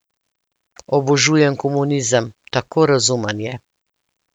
Obožujem komunizem, tako razumen je!